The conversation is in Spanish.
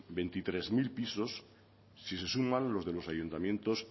veintitrés mil pisos si se suman los de los ayuntamientos